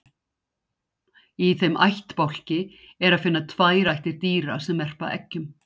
í þeim ættbálki er að finna tvær ættir dýra sem verpa eggjum